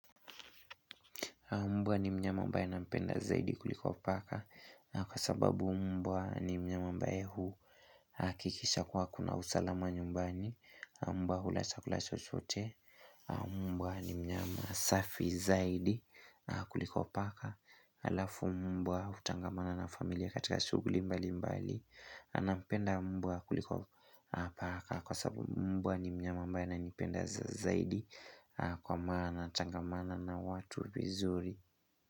Mbwa ni mnyama ambaye nampenda zaidi kuliko paka. Kwa sababu mbwa ni mnyama ambaye huhakikisha kuwa kuna usalama nyumbani Mbwa hula chakula chochote, Mbwa ni mnyama safi zaidi kuliko paka. Halafu mbwa hutangamana na familia katika shughuli mbalimbali. Napenda mbwa kuliko paka kwa sababu mbwa ni mnyama ambaye ananipenda zaidi Kwa maana, tangamana na watu vizuri.